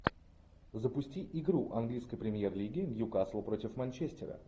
запусти игру английской премьер лиги ньюкасл против манчестера